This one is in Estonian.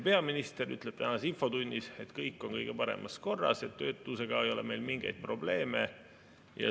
Peaminister ütles tänases infotunnis, et kõik on kõige paremas korras ja töötusega ei ole meil mingeid probleeme.